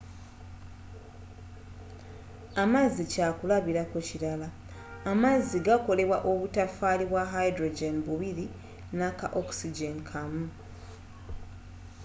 amazzi kyakulabirako kirala amazzi gakolebwa obutofaali bwa hydrogen bubiri naka oxygen kamu